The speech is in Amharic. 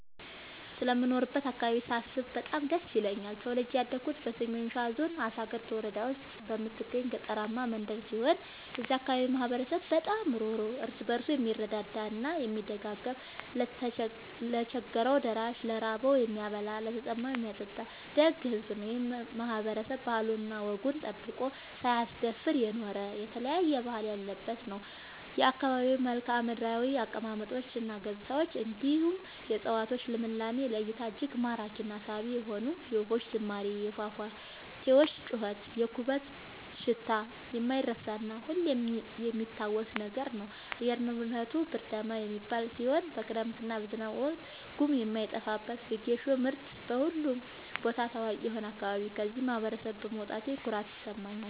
ስለምኖርበት አካባቢ ሳስብ በጣም ደስ ይለኛል። ተወልጄ ያደኩት በሰሜን ሸዋ ዞን አሳግርት ወረዳ ውስጥ በምትገኝ ገጠራማ መንደር ሲሆን የዛ አካባቢ ማህበረሰብ በጣም ሩህሩህ ÷ እርስ በርሱ የምረዳዳ እና የሚደጋገፍ ለቸገረው ደራሽ ÷ ለራበው የሚያበላ ÷ለተጠማ የሚያጠጣ ደግ ሕዝብ ነው። ይህ ማህበረሰብ ባህሉን እና ወጉን ጠብቆ ሳያስደፍር የኖረ የተለያየ ባህል ያለበት ነው። የአካባቢው መልከዓምድራው አቀማመጥ እና ገጽታ እንዲሁም የ እፀዋቶቹ ልምላሜ ለ እይታ እጅግ ማራኪ እና ሳቢ የሆነ የወፎቹ ዝማሬ የፏፏቴው ጩኸት የኩበቱ ሽታ የማይረሳ እና ሁሌም የሚታወስ ነገር ነው። አየር ንብረቱ ብርዳማ የሚባል ሲሆን በክረምት እና በዝናብ ወቅት ጉም የማይጠፋበት በጌሾ ምርት በሁሉም ቦታ ታዋቂ የሆነ አካባቢ ነው። ከዚህ ማህበረሰብ በመውጣቴ ኩራት ይሰማኛል።